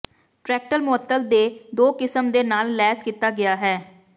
tractor ਮੁਅੱਤਲ ਦੇ ਦੋ ਕਿਸਮ ਦੇ ਨਾਲ ਲੈਸ ਕੀਤਾ ਗਿਆ ਹੈ